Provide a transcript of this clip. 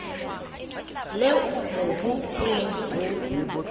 leo mobu o leng ho